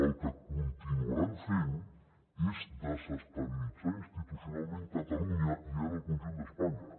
el que continuaran fent és desestabilitzar institucionalment catalunya i ara el conjunt d’espanya